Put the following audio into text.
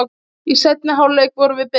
Í seinni hálfleik vorum við betri